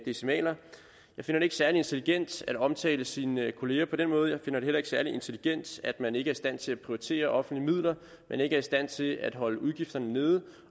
decimaler jeg finder det ikke særlig intelligent at omtale sine kolleger på den måde jeg finder det heller ikke særlig intelligent at man ikke er i stand til at prioritere offentlige midler at man ikke er i stand til at holde udgifterne nede